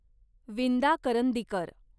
Vinda Karandikar